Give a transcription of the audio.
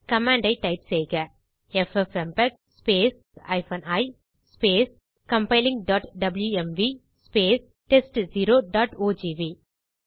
command ஐ type செய்க ffmpeg i compilingடப்ளூஎம்வி test0ஓஜிவி